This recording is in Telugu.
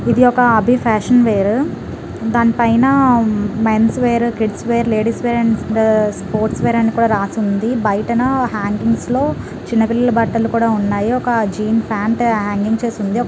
ఇది ఒక అభి ఫ్యాషన్ వేర్ దానిపైన men's wear kids wear ladies wear and sports wear అని రాసి ఉంది బయటనా హాంగింగ్స్ లో చిన్న పిల్లల బట్టలు కూడా ఉన్నాయి ఒక జీన్ ప్యాంట్ హాంగింగ్ చేసి ఉంది.